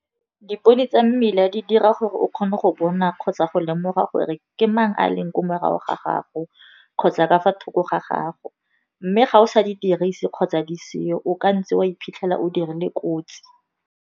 Dipone tsa mmila di dira gore o kgone go bona kgotsa go lemoga gore ke mang a leng kwa morago ga gago, kgotsa ka fa thoko ga gago, mme ga o sa di dirise kgotsa di seo o ka ntse wa iphitlhela o dirile kotsi.